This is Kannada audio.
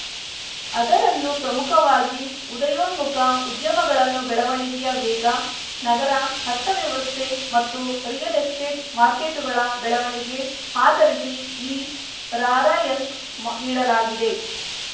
ಅದರಲ್ಲೂ ಪ್ರಮುಖವಾಗಿ ಉದಯೋನ್ಮುಖ ಉದ್ಯಮಗಳನ್ನು ಬೆಳವಣಿಗೆಯ ವೇಗ ನಗರ ಅರ್ಥವ್ಯವಸ್ಥೆ ಮತ್ತು ರಿಯಲ್‌ ಎಸ್ಟೇಟ್‌ ಮಾರ್ಕೆಟುಗಳ ಬೆಳವಣಿಗೆ ಆಧರಿಸಿ ಈ ರಾರ‍ಯಂಕ್‌ ನೀಡಲಾಗಿದೆ